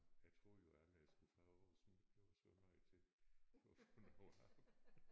Jeg troede jo aldrig jeg skulle fra Aarhus men det blev jeg så nødt til for at få noget arbejde